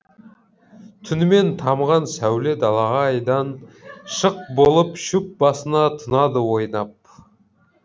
түнімен тамған сәуле далаға айдан шық болып шөп басына тұнады ойнап